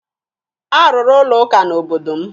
A rụrụ ụlọụka n'obodo m.